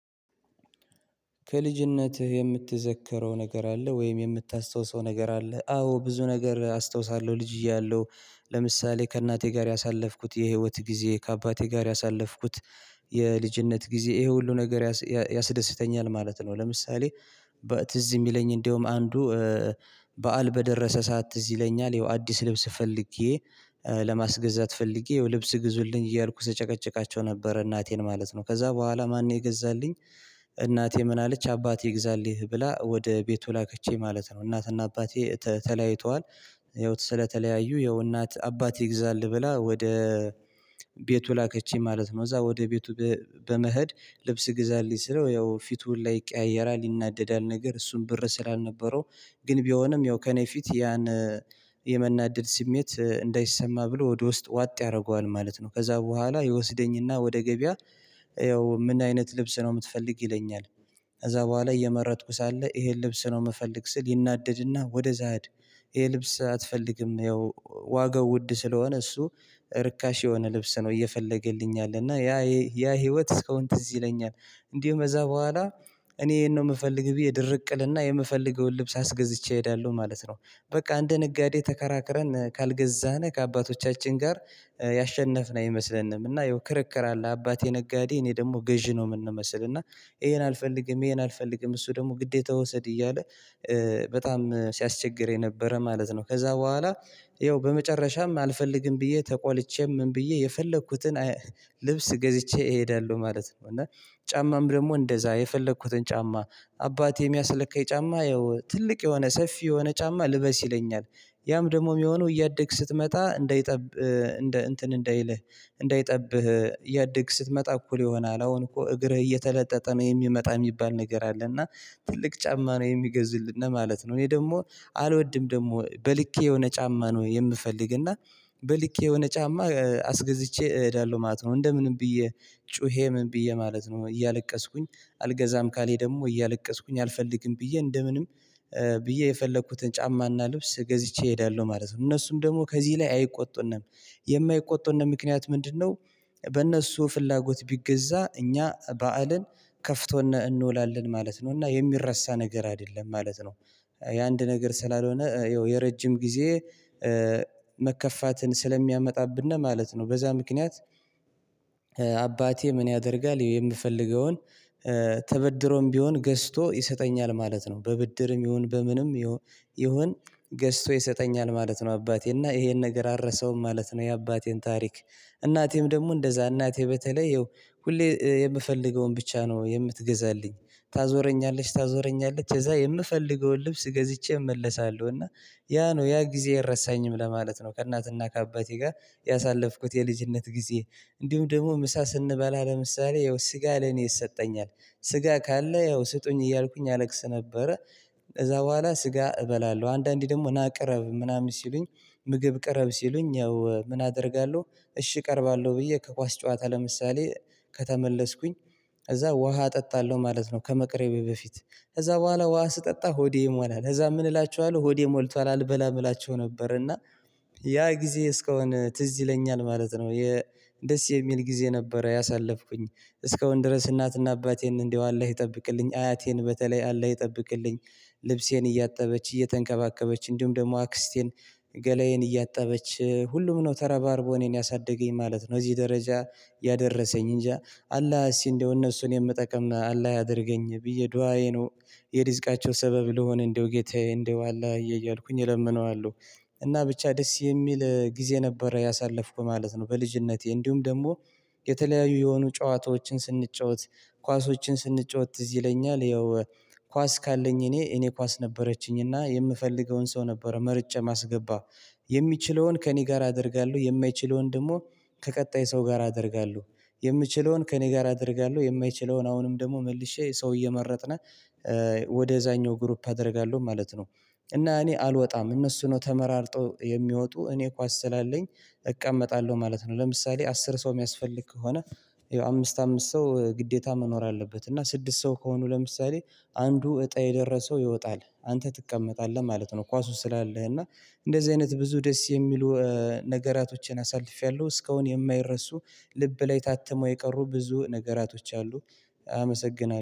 ከልጅነትህ የምትዘከረው ነገር አለ ወይም የምታስታውሰው ነገር አለ? አዎ ብዙ ነገር አስታውሳለሁ ልጅ እያለሁ ለምሳሌ ከእናቴ ጋር ያሳለፍኩት የህይወት ጊዜ ከአባቴ ጋር ያሳለፍኩት የልጅነት ጊዜ ይሄ ሁሉ ነገር ያስ ያስደስተኛል ማለት ነው። ለምሳሌ በትዝ የሚለኝ እንደውም አንዱ በዓል በደረሰ ሰዓት ትዝ ይለኛል ያው አዲስ ልብስ ፈልጌ ለማስገዛት ፈልጌ ያው ልብስ ግዙልኝ እያልኩ ስጨቀጭቃቸው ነበር እናቴን ማለት ነው ከዛ በኋላ ማን ነው የገዛልኝ? እናቴ ምን አለች አባትህ ይግዛልህ ብላ ወደ ቤቱ ላከችኝ ማለት ነው። እናትና አባቴ ተ ተለያይተዋል ያው ስለተለያዩ ያው እናት አባትህ ይግዛልህ ብላ ወደ ቤቱ ላከችኝ ማለት ነው። ከዛ ወደ ቤቱ በ በመሄድ ልብስ ግዛልኝ ስለው ያው ፊቱ ሁላ ይቀያየራል ይናደዳል ነገር እሱም ብር ስላልነበረው ግን ቢሆንም ያው ከእኔ ፊት ያን የመናደድ ስሜት እንዳይሰማ ብሎ ወደ ውስጥ ዋጥ ያደርገዋል ማለት ነው። ከዛ በኋላ ይወስደኝና ወደ ገበያ ያው ምን አይነት ልብስ ነው የምትፈልግ ይለኛል? ከዛ በኋላ እየመረጥኩ ሳለ ይሄን ልብስ ነው የምፈልግ ስል ይናደድና ወደዛ ሂድ ይሄ ልብስ አትፈልግም ያው ዋጋው ውድ ስለሆነ እሱ ርካሽ የሆነ ልብስ ነው እየፈለገልኝ ያለ እና ያ ያ ህይወት እስከ አሁን ትዝ ይለኛል። እንዲያውም ከዛ በኋላ እኔ ይሄን ነው የምፈልግ ብዬ ድርቅ እልና የምፈልገውን ልብስ አስገዝቼ እሄዳለሁ ማለት ነው። በቃ እንደ ነጋዴ ተከራክረን ካልገዛን ከአባቶቻችን ጋር ያሸነፍን አይመስለንም እና ያው ክርክር አለ አባቴ ነጋዴ እኔ ደግሞ ገዢ ነው የምንመስል እና ይሄን አልፈልግም ይሄን አልፈልግም እሱ ደግሞ ግዴታ ውሰድ እያለ በጣም ሲያስቸግረኝ ነበረ ማለት ነው። ከዛ በኋላ ይኸው በመጨረሻም አልፈልግም ብዬ ተቆልቼ ምን ብዬ የፈለኩትን ልብስ ገዝቼ እሄዳለሁ ማለት ነው። እና ጫማም ደግሞ እንደዛ የፈለኩትን ጫማ አባቴ የሚያስለካኝ ጫማ ያው ትልቅ የሆነ ሰፊ የሆነ ጫማ ልበስ ይለኛል። ያም ደግሞ የሚሆነው እያደክ ስትመጣ እንዳይጠብ እንትን እንዳይልህ እንዳይጠብህ እያደክ ስትመጣ እኩል ይሆናል አሁን እኮ እግርህ እየተለጠጠ ነው የሚመጣ የሚባል ነገር አለ እና ትልቅ ጫማ ነው የሚገዙልነ ማለት ነው። እኔ ደግሞ አልወድም ደግሞ በልኬ የሆነ ጫማ ነው የምፈልግ እና በልኬ የሆነ ጫማ አስገዝቼ እሄዳለሁ ማለት ነው። እንደምንም ብዬ ጩሄ ምን ብዬ ማለት ነው እያለቀስኩኝ አልገዛም ካለኝ ደግሞ እያለቀስኩኝ አልፈልግም ብዬ እንደ ምንም ብዬ የፈለኩትን ጫማና ልብስ ገዝቼ እሄዳለሁ ማለት ነው። እነሱም ደግሞ ከዚህ ላይ አይቆጡንም የማይቆጡንም ምክንያት ምንድንነው? በእነሱ ፍላጎት ቢገዛ እኛ በዓልን ከፍቶን እንውላለን ማለት ነው እና የሚረሳ ነገር አይደለም ማለት ነው። የአንድ ነገር ስላልሆነ ይኸው የረጅም ጊዜ መከፋትን ስለሚያመጣብን ማለት ነው በዛ ምክንያት አባቴ ምን ያደርጋል የምፈልገውን ተበድሮም ቢሆን ገዝቶ ይሰጠኛል ማለት ነው። በብድርም ይሁን በምንም ይሁን ገዝቶ ይሰጠኛል ማለት ነው። አባቴ እና ይሄን ነገር አልረሳውም ማለት ነው። የአባቴን ታሪክ እናቴም ደግሞ እንደዛ እናቴ በተለይ ይኸው ሁሌ የምፈልገውን ብቻ ነው የምትገዛልኝ ታዞረኛለች ታዞረኛለች ከዛ የምፈልገውን ልብስ ገዝቼ እመለሳለሁ እና ያ ነው ያ ጊዜ አይረሳኝም ለማለት ነው። ከእናትና ከአባቴ ጋር ያሳለፍኩት የልጅነት ጊዜ እንዲሁም ደግሞ ምሳ ስንበላ ለምሳሌ ያው ስጋ ለኔ ይሰጠኛል ስጋ ካለ ያው ስጡኝ እያልኩኝ አለቅስ ነበረ። ከዛ በኋላ ስጋ እበላለሁ አንዳንዴ ደግሞ ና ቅረብ ምናምን ሲሉኝ ምግብ ቅረብ ሲሉኝ ያው ምን አደርጋለሁ እሺ እቀርባለሁ ብዬ ከኳስ ጨዋታ ለምሳሌ ከተመለስኩኝ እዛ ውሃ እጠጣለሁ ማለት ነው። ከመቅረቤ በፊት ከዛ በኋላ ውሃ ስጠጣ ሆዴ ይሞላል ከዛ ምን እላቸዋለሁ ሆዴ ሞልቷል አልበላም እላቸው ነበር እና ያ ጊዜ እስካሁን ትዝ ይለኛል ማለት ነው። የ ደስ የሚል ጊዜ ነበረ ያሳለፍኩኝ እስከ አሁን ድረስ እናትና አባቴን እንደው አላህ ይጠብቅልኝ አያቴን በተለይ አላህ ይጠብቅልኝ። ልብሴን እያጠበች እየተንከባከበች እንዲሁም ደግሞ አክስቴን ገላዬን እያጠበች ሁሉም ነው ተረባርቦ እኔን ያሳደገኝ ማለት ነው። እዚህ ደረጃ ያደረሰኝ እንጃ አላህ እስኪ እንደው እነሱን የምጠቅም አላህ ያድርገኝ ብዬ ዱአዬ ነው የድስቃቸው ሰበብ ልሆን እንደው ጌታዬ እንደው አላህዬ እያልኩኝ እለምነዋለሁ። እና ብቻ ደስ የሚል ጊዜ ነበረ ያሳለፍኩት ማለት ነው። በልጅነቴ እንዲሁም ደግሞ የተለያዩ የሆኑ ጨዋታዎችን ስንጫወት ኳሶችን ስንጫወት ትዝ ይለኛል ያው ኳስ ካለኝ እኔ እኔ ኳስ ነበረችኝ እና የምፈልገውን ሰው ነበር መርጬ ማስገባት የሚችለውን ከእኔ ጋር አደርጋለሁ የማይችለውን ደግሞ ከቀጣይ ሰው ጋር አደርጋለሁ። የምችለውን ከእኔ ጋር አደርጋለሁ የማይችለውን አሁንም ደግሞ መልሼ ሰው እየመረጥን ወደዛኛው ግሩፕ አደርጋለሁ ማለት ነው። እና እኔ አልወጣም እነሱ ነው ተመራርጠው የሚወጡ እኔ ኳስ ስላለኝ እቀመጣለሁ ማለት ነው። ለምሳሌ አስር ሰው የሚያስፈልግ ከሆነ አምስት አምስት ሰው ግዴታ መኖር አለበት እና ስድስት ሰው ከሆኑ ለምሳሌ አንዱ እጣ የደረሰው ይወጣል አንተ ትቀመጣለህ ማለት ነው። ኳሱን ስላለህ እና እንደዚህ አይነት ብዙ ደስ የሚሉ ነገራቶችን አሳልፌያለሁ እስካሁን የማይረሱ ልብ ላይ ታትመው የቀሩ ብዙ ነገራቶች አሉ። አመሰግናለሁ